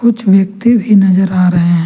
कुछ व्यक्ति भी नजर आ रहे हैं।